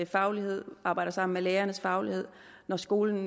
faglighed arbejder sammen med lærernes faglighed og når skolen